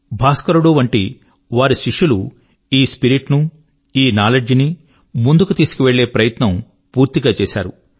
భాస్కరుడు వంటి వారి శిష్యులు ఈ స్పిరిట్ ను ఈ నౌలెడ్జ్ ను ముందుకు తీసుకువెళ్ళే ప్రయత్నం పూర్తిగా చేశారు